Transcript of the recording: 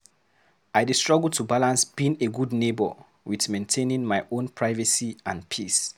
I dey struggle to balance being a good neighbor with maintaining my own privacy and peace.